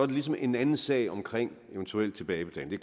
ligesom en anden sag omkring eventuel tilbagebetaling det